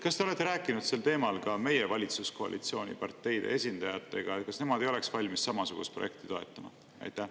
Kas te olete rääkinud sel teemal ka meie valitsuskoalitsiooni parteide esindajatega, kas nemad ei oleks valmis samasugust projekti toetama?